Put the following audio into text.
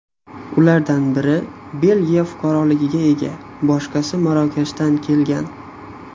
Ulardan biri Belgiya fuqaroligiga ega, boshqasi Marokashdan kelgan.